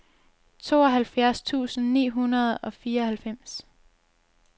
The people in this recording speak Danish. tooghalvfjerds tusind ni hundrede og fireoghalvfems